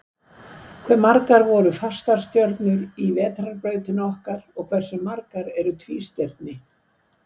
Hvað eru margar fastastjörnur í Vetrarbrautinni okkar, og hversu margar eru tvístirni?